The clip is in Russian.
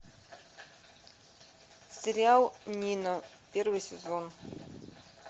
сериал нина первый сезон